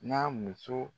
N'a muso